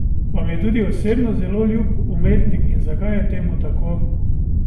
Vam je tudi osebno zelo ljub umetnik in zakaj je temu tako?